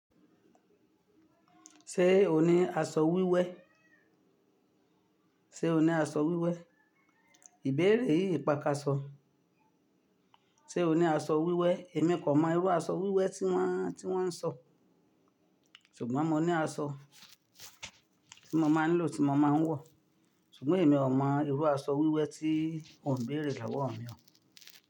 Ṣé o ní aṣọ wíwẹ́? Ṣé o ní aṣọ wíwẹ́? Ìbéèrè yìí pakàsọ. Ṣé o ní aṣọ wíwẹ́? Èmi kò mọ irú aṣọ wíwẹ́ tí wọ́n, tí wọ́n ń sọ. Ṣùgbọ́n mo ní aṣọ tí mo máa ń lò, tí mo máa ń wọ̀. Ṣùgbọ́n èmi ò mọ irú aṣọ wíwẹ́ tí ò ń béèrè lowọ̀ mi.